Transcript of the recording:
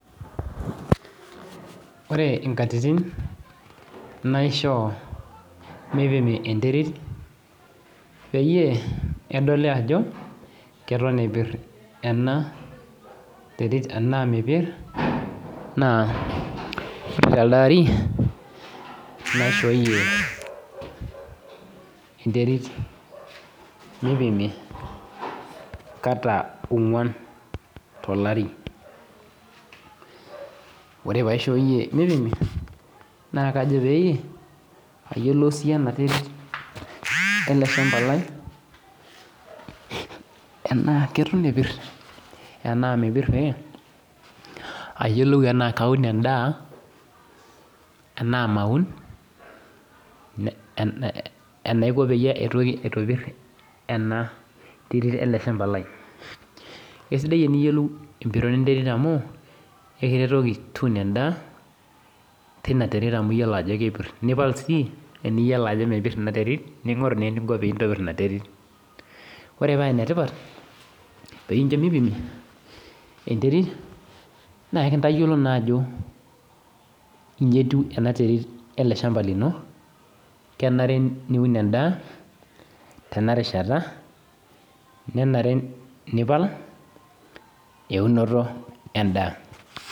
Ore inkatitin naishoo meipimi enterit peyie edoli ajo keton epir anaa mepir, naa elde ari, naishooyoe enterit meipimi kata ong'uan meipimi tolari, ore pee aishooyie meipimi naa kajo pee eyiolou sii ena terit ele shamba Lai, tanaa keton epir anaa mepir pee eyiolou tanaa Kaun endaa anaa maun, enaiko pee aitoki aitopir, ena terit ele shamba Lai, ekesidai teniyolou enetiu enterit amu kincho piun endaa teina terit ajo kepir, niipal sii tenidol ajo mepir Ina terit, ningoru naa eninko pee intobir Ina terit, ore paa ene tipat pee incho meipimi enterit naa kintayiolou naa ajo inji etiu ena terit ele shamba lino naa enare niun endaa tena rishata nenare nipal eunoto endaa